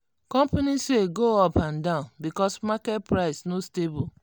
company sales go up and down because market price no stable.